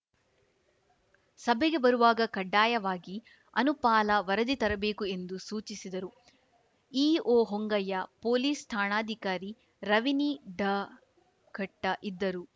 ಸಭೆಗೆ ಬರುವಾಗ ಕಡ್ಡಾಯವಾಗಿ ಅನುಪಾಲ ವರದಿ ತರಬೇಕು ಎಂದು ಸೂಚಿಸಿದರು ಇಒ ಹೊಂಗಯ್ಯ ಪೊಲೀಸ್‌ ಠಾಣಾಧಿಕಾರಿ ರವಿನಿಡಘಟ್ಟ ಇದ್ದರು